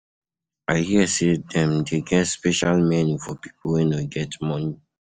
I hear sey dem dey get special menu for pipo wey no get moni.